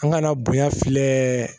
An kana bonya filɛ